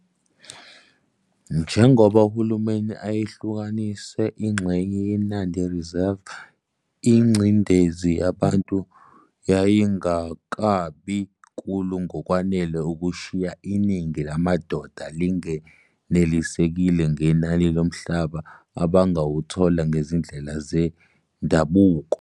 Njengoba uHulumeni ayehlukanise ingxenye yeNandi Reserve ingcindezi yabantu yayingakabi nkulu ngokwanele ukushiya iningi lamadoda lingenelisekile ngenani lomhlaba abangawuthola ngezindlela zendabuko.